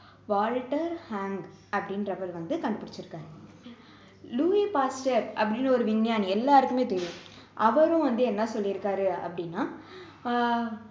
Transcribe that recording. Walter Hong அப்படின்றவரு வந்து கண்டுபிடிச்சுருக்காரு லூயி பாஸ்டர் அப்படின்னு ஒரு விஞ்ஞானி எல்லாருக்குமே தெரியும் அவரும் வந்து என்ன சொல்லி இருக்காரு அப்படின்னா ஆஹ்